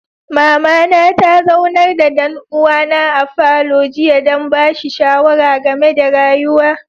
Mama na ta zaunar da dan'uwa na a falo jiya dan bashi shawara game da rayuwa.